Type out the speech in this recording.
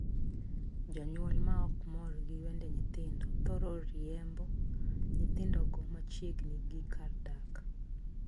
Jonyuol ma ok mor gi wende nyithindo thoro riembo nyithindogo machiegni gi kar dak.